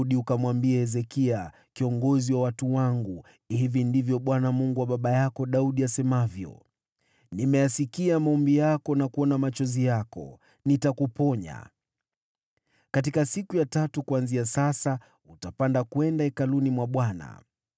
“Rudi ukamwambie Hezekia, kiongozi wa watu wangu, ‘Hili ndilo asemalo Bwana , Mungu wa baba yako Daudi: Nimeyasikia maombi yako na nimeona machozi yako; nitakuponya. Siku ya tatu kuanzia sasa utapanda kwenda Hekalu la Bwana .